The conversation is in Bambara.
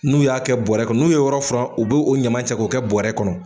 N'u y'a kɛ bɔrɛ kɔnɔ, n'u ye yɔrɔ furan, u b'o o ɲama cɛ k'o kɛ bɔrɛ kɔnɔ.